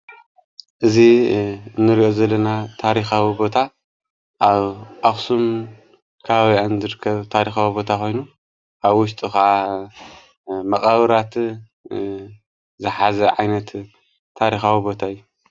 እዙ ንርዮ ዘለና ታሪኻዊ ቦታ ኣብ ኣክሱም ካባቢኣን ዝርከብ ታሪኻዊ ቦታ ኾይኑ ኣብ ውሽጡ ኸዓ መቓብራት ዝሓዚ ዓይነት ታሪኻዊ ቦታ እዩ።